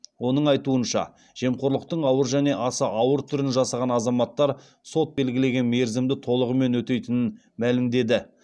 оның айтуынша жемқорлықтың ауыр және аса ауыр түрін жасаған азаматтар сот белгілеген мерзімді толығымен өтейтінін мәлімдеді